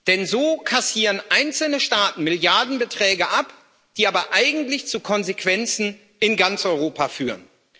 Denn so kassieren einzelne Staaten Milliardenbeträge ab, die aber eigentlich zu Konsequenzen in ganz Europa führen.